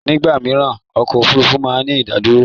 Ní ìgbà mìíràn ọkọ̀ Òfurufú máa ń ní ìdádúró.